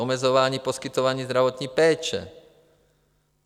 Omezování poskytování zdravotní péče.